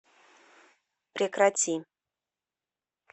прекрати